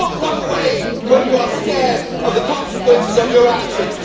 Do not run away when you are scared of the consequences of your actions.